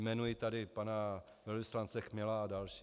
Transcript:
Jmenuji tady pana velvyslance Chmela a další.